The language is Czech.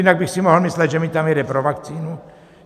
Jinak bych si mohl myslet, že mi tam jede pro vakcínu.